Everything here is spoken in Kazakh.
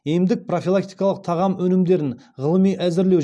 емдік профилактикалық тағам өнімдерін ғылыми әзірлеу